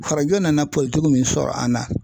Farajɛw nana min sɔrɔ an na.